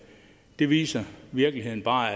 det viser virkeligheden bare